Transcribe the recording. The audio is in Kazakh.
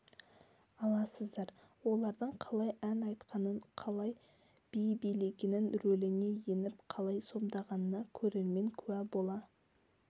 аласыздар олардың қалай ән айтқанын қалай би билегенін рөліне еніп қалай сомдағанына көрермен куә бола